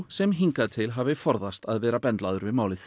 sem hingað til hafi forðast að vera bendlaður við málið